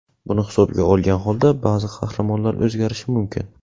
Buni hisobga olgan holda ba’zi qahramonlar o‘zgarishi mumkin.